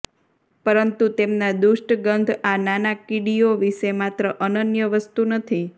પરંતુ તેમના દુષ્ટ ગંધ આ નાના કીડીઓ વિશે માત્ર અનન્ય વસ્તુ નથી